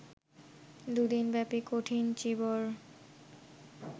দু'দিনব্যাপী কঠিন চীবর